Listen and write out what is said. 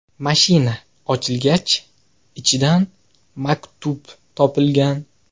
Mashina ochilgach, ichidan maktub topilgan.